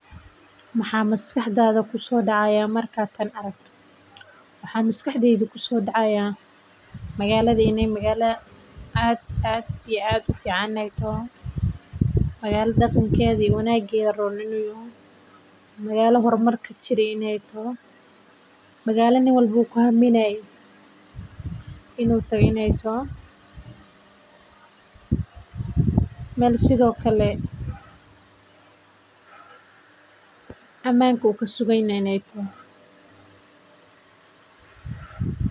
Maxaa maskaxdeyda kusoo dacaaya markaad tan aragto waxaa maskaxdeyda kusoo dacaaya magaala inaay tahay aad iyo aad ufican oo aay tahay magala qof walbo ku haminaay inuu tago oo meel amaanka kusugan yahay inaay tahay.